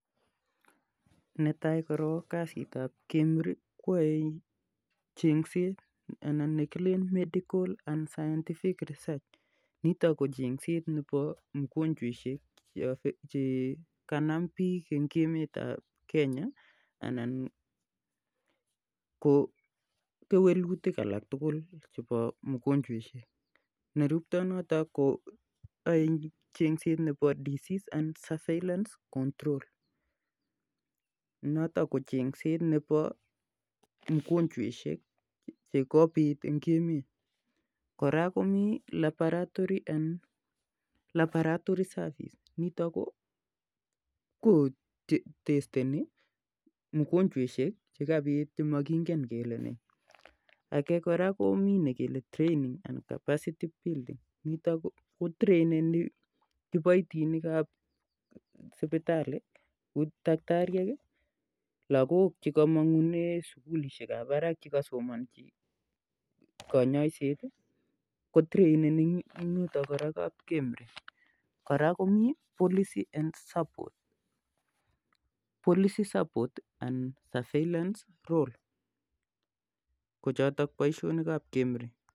Kazit ap kemri koyaei chengset ana 'scientific and medical research'nitok ko chengset nebo mwanwakikikchekap it ak kewelutik alak tukul koraa kimii kazit nebo lab koraa ko traineni kiboitinik ap spitalii ak lakok chesomonchin kanyoiset